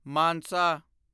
Mansa